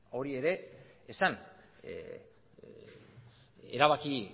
hori ere esan erabaki